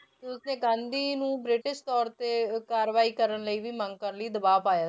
ਤੇ ਉਸਨੇ ਗਾਂਧੀ ਨੂੰ ਬ੍ਰਿਟਿਸ਼ ਤੌਰ ਤੇ ਕਾਰਵਾਈ ਕਰਨ ਲਈ ਵੀ ਮੰਗ ਕਰਨ ਲਈ ਦਬਾਅ ਪਾਇਆ।